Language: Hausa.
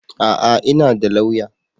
A'a! Ina da lauya